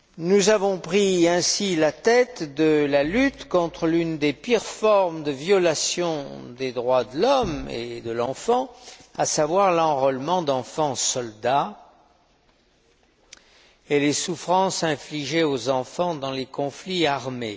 Nous avons ainsi pris la tête de la lutte contre l'une des pires formes de violation des droits de l'homme et de l'enfant, à savoir l'enrôlement d'enfants soldats et les souffrances infligées aux enfants dans les conflits armés.